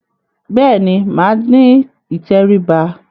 Bẹ́ẹ̀ ni, màá ní ìtẹríba.